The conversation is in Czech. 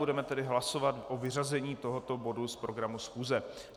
Budeme tedy hlasovat o vyřazení tohoto bodu z programu schůze.